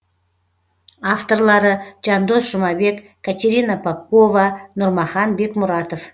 авторлары жандос жұмабек катерина попкова нұрмахан бекмұратов